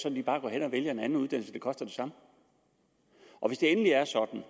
at de bare går hen og vælger en anden uddannelse og den koster det samme og hvis det endelig er sådan